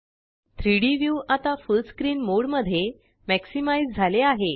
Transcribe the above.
3डी व्यू आता full screen mode मध्ये मॅक्सिमाइज़ झाले आहे